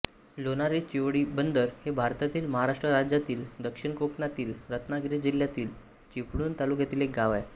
लोणारी चिवळीबंदर हे भारतातील महाराष्ट्र राज्यातील दक्षिण कोकणातील रत्नागिरी जिल्ह्यातील चिपळूण तालुक्यातील एक गाव आहे